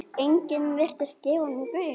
Enginn virtist gefa honum gaum.